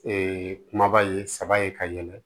kumaba ye saba ye ka yɛlɛ